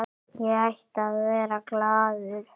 Ég ætti að vera glaður.